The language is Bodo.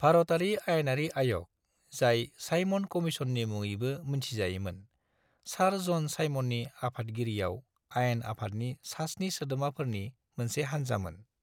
भारतारि आयेनारि आय'ग, जाय साइमन कमीशननि मुङैबो मिन्थिजायोमोन, सार ज'न साइमननि आफादगिरियाव आयेन आफादनि सास्नि सोद्रोमाफोरनि मोनसे हान्जामोन।